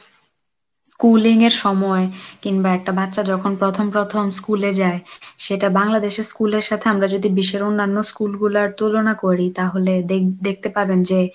schooling এর সময় কিংবা একটা বাচ্চা যখন প্রথম প্রথম school যায় সেটা বাংলাদেশের school এর সাথে আমরা যদি বিশ্বের অন্যান্য school গুলোর তুলনা করি তাহলে দেখ~দেখতে পাবেন যে,